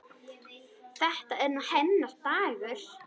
Þetta er nú hennar dagur.